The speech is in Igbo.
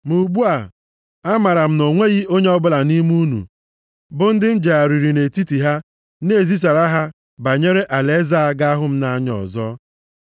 “Ma ugbu a, amaara m na o nweghị onye ọbụla nʼime unu, bụ ndị m jegharịrị nʼetiti ha na-ezisara ihe banyere alaeze a ga-ahụ m anya ọzọ.